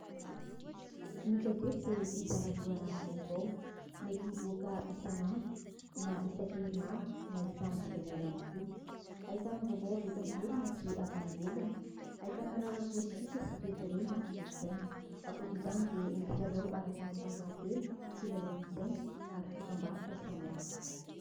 Ny gazety dia mpizara loharanom-baovao. Mety hivoaka isan'andro, na isan-kerinandro na isam-bolana ihany koa. Ahitana vaovao avy eto an toerana sy avy any ivelany. Ahitana raharaha politika sy toekarena ary kolontsaina. Ankoatr'izany dia misy lalao ara-panatanjahantena, kilalaon-tsaina ary dokam-baroka samihafa.